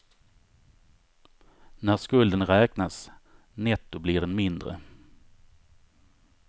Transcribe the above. När skulden räknas netto blir den mindre.